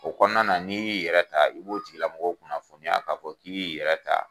O kɔnɔna na n'i y'i yɛrɛ ta i b'o tigilamɔgɔ kunnafoni ya k'a fɔ k'i b'i yɛrɛ ta.